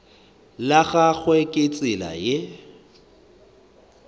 la gagwe ke tsela ye